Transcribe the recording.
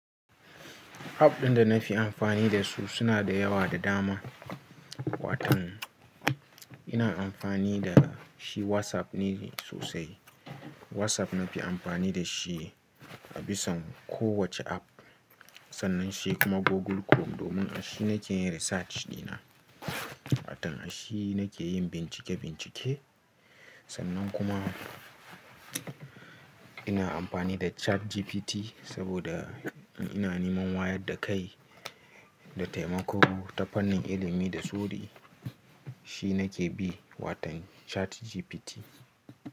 App ɗin da na fi amfani da su suna da yawa da dama. Watan ina amfani da shi WhatsApp ne sosai. WhatsApp na fi amfani da shi a bisa kowace app. Sannan shi kuma Google Chrome domin a shi nake yin research dina. Watan a shi nake yin bincike-bincike. Sannan kuma ina amfani da ChatGPT saboda ina neman wayar da kai da taimako ta fannin ilimi da sori Shi nake bi, watan ChatGPT.